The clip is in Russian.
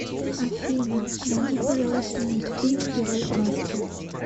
афина найди пожалуйста мультфильм герой в маске